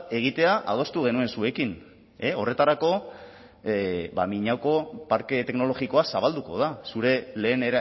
egitea adostu genuen zuekin horretarako miñaoko parke teknologikoa zabalduko da zure lehen